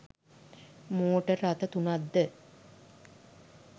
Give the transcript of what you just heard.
motor රථ තුනක් ද